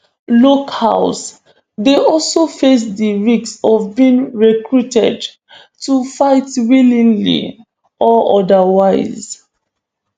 locals dey also face di risk of being recruited to fight willingly or otherwise